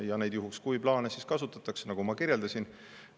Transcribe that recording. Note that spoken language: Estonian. Ja neid "juhuks kui" plaane siis kasutatakse, nagu ma kirjeldasin.